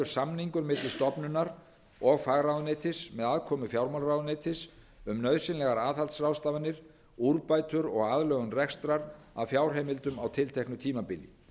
samningur milli stofnunar og fagráðuneytis með aðkomu fjármálaráðuneytis um nauðsynlegar aðhaldsráðstafanir úrbætur og aðlögun rekstrar að fjárheimildum á tilteknu tímabili